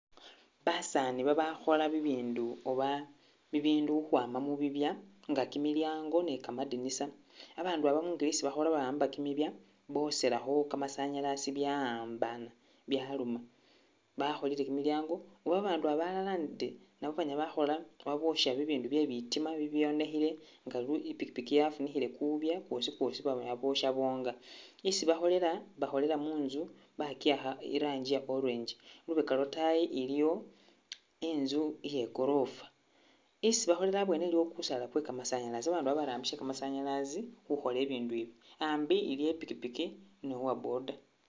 Basaani babakhola bibindu oba bibindu ukhwama mu bibya nga kimilyango ni kamadinisa. abaandu aba mungeli isi bakhola ba'amba kimibya boselakho kamasanyasi bya'ambana byaluma. Bakholile kimilyango, abandu aba alala ndi nabo banyala bakhola oba bosya bibindu bye bitima bibibyonekhile nga lu i'pikipiki yafunikhile kubya kwosi kwosi banyala bosya bonga. Isi bakholela, bakholela munzu ba kiyakha i'rangi ya orange lubeka lwa trying iliyo inzu iye korofa, isi bakholela abwene nawo iliwo kusaala kwe kamasanyasi, babandu iba barambisa kamasanyalazi khukhola ibindu ibi. Ambi iliwo I'pikipi ni uwa boda